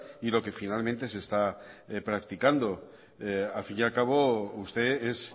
y lo que finalmente se está practicando al fin y al cabo usted es